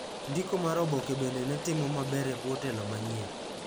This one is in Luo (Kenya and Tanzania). Ndiko mar oboke bende ne timo maber ebwo telo manyien.